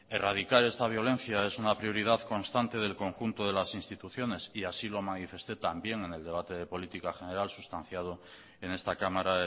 erradicar esta violencia es una prioridad constante del conjunto de las instituciones y así lo manifesté también en el debate de política general sustanciado en esta cámara